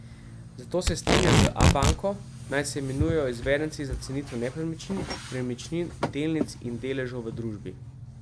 Zato se strinja z Abanko, naj se imenujejo izvedenci za cenitev nepremičnin, premičnin, delnic in deležev v družbi.